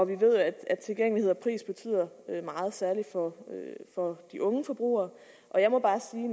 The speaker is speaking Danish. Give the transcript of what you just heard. vi ved at tilgængelighed og pris betyder meget særlig for de unge forbrugere og jeg må bare sige